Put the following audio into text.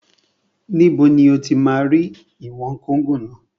Níbo ni o ti máa rí ìwọ̀n kóngò náà?